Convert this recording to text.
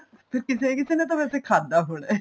ਫ਼ੇਰ ਕਿਸੇ ਕਿਸ਼ ਨੇ ਤਾਂ ਵੈਸੇ ਖਾਦਾ ਹੋਣਾ